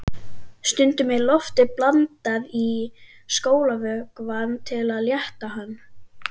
Stundum er lofti blandað í skolvökvann til að létta hann.